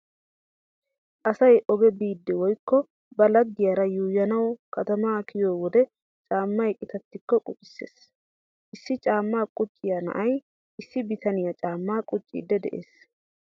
Asay oge biiddi woykko ba laggiyara yuuyyanawu katamaa kiyo wode caammay qitattikko qucissees. Issi caammaa qucciya na'ay issi bitaniya caammaa qucciiddi de'ees.